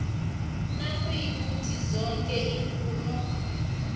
nayikuthi zoke iimfuno